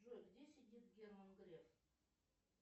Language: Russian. джой где сидит герман греф